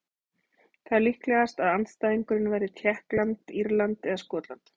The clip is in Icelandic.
Það er líklegast að andstæðingurinn verði Tékkland, Írland eða Skotland.